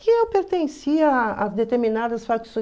Que eu pertencia a determinadas